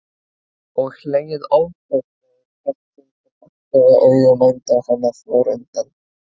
Og hlegið ofboðslega í hvert sinn sem agndofa augu mændu á hana í forundran.